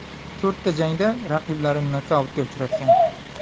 To‘rtta jangda raqiblarini nokautga uchratgan.